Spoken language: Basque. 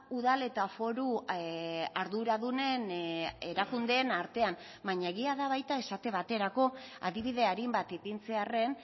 udal eta foru arduradunen erakundeen artean baina egia da baita esate baterako adibide arin bat ipintzearren